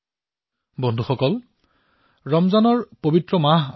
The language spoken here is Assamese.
বন্ধুসকল ৰমজানৰ পবিত্ৰ মাহ আৰম্ভ হৈছে